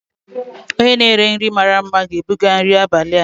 onye na-ere nri mara mma ga-ebuga nri abalị a.